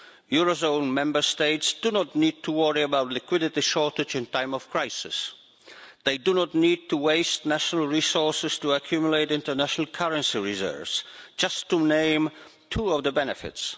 Eurozone Member States do not need to worry about a liquidity shortage in time of crisis and they do not need to waste national resources to accumulate international currency reserves, to name just two of the benefits.